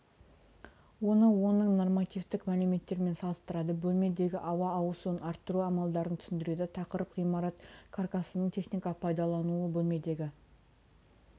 оны оның нормативтік мәліметтерімен салыстырады бөлмедегі ауа ауысуын арттыру амалдарын түсіндіреді тақырып ғимарат каркасының техникалық пайдалануы бөлмедегі